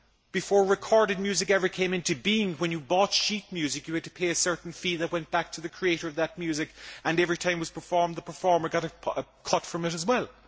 Before recorded music ever came into being, when you bought sheet music you had to pay a certain fee that went back to the creator of that music and every time it was performed the performer got a cut from it as well.